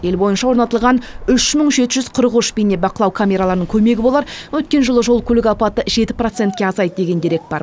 ел бойынша орнатылған үш мың жеті жүз қырық үш бейнебақылау камераларының көмегі болар өткен жылы жол көлік апаты жеті процентке азайды деген дерек бар